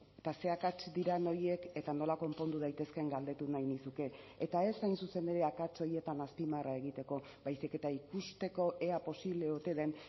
eta ze akats diren horiek eta nola konpondu daitezkeen galdetu nahi nizuke eta ez hain zuzen ere akats horietan azpimarra egiteko baizik eta ikusteko ea posible ote den